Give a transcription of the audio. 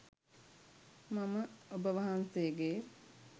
මම ඔබ වහන්සේගේ